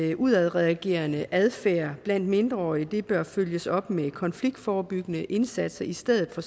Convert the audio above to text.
at udadreagerende adfærd blandt mindreårige bør følges op med konfliktforebyggende indsatser i stedet for